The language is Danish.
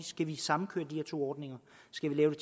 skal samkøre de her to ordninger skal vi lave